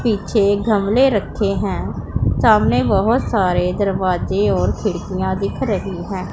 पीछे घमले रखे हैं सामने बहुत सारे दरवाजे और खिड़कियां दिख रही हैं।